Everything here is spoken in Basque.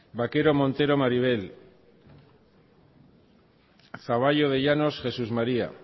vaquero montero maribel zaballos de llanos jesús maría